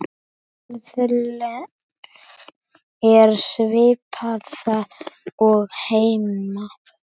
Verðlag er svipað og heima.